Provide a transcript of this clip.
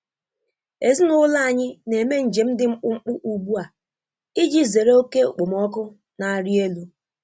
Ezinụlọ anyị na-eme njem dị mkpụmkpụ ugbu a iji zere oke okpomọkụ na-arị elu.